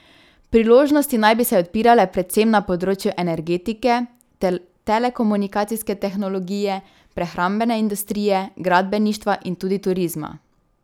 Priložnosti naj bi se odpirale predvsem na področju energetike, telekomunikacijske tehnologije, prehrambene industrije, gradbeništva in tudi turizma.